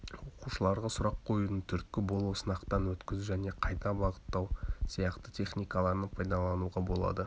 оқушыларға сұрақ-қоюдың түрткі болу сынақтан өткізу және қайта бағыттау сияқты техникаларынан пайдалануға болады